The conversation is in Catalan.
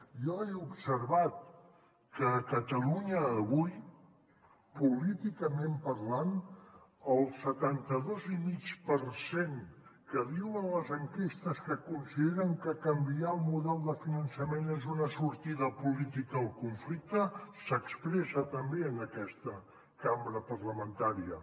jo he observat que a catalunya avui políticament parlant el setanta dos i mig per cent que diuen les enquestes que consideren que canviar el model de finançament és una sortida política al conflicte s’expressa també en aquesta cambra parlamentària